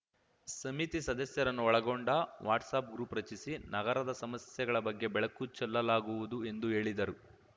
ಸಮಿತಿ ಸದಸ್ಯರನ್ನು ಒಳಗೊಂಡ ವಾಟ್ಸಪ್‌ ಗ್ರೂಪ್‌ ರಚಿಸಿ ನಗರದ ಸಮಸ್ಯೆಗಳ ಬಗ್ಗೆ ಬೆಳಕು ಚೆಲ್ಲಲಾಗುವುದು ಎಂದು ಹೇಳಿದರು